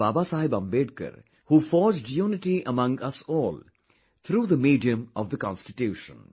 Babasaheb Ambedkar who forged unity among us all through the medium of the Constitution